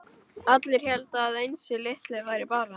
Allir héldu að Einsi litli væri bara